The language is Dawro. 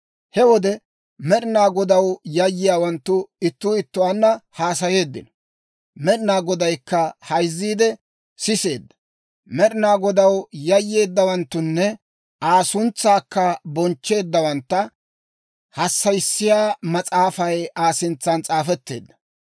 He wode Med'ina Godaw yayyiyaawanttu ittuu ittuwaanna haasayeeddino; Med'ina Godaykka hayzziide siseedda. Med'ina Godaw yayyeeddawanttunne Aa suntsaakka bonchcheeddawantta hassayissiyaa mas'aafay Aa sintsan s'aafetteedda.